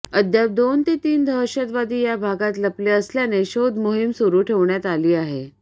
अद्याप दोन ते तीन दहशतवादी या भागात लपले असल्याने शोध मोहीम सुरू ठेवण्यात आली आहे